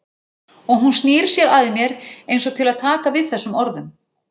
Og hún snýr sér að mér einsog til að taka við þessum orðum.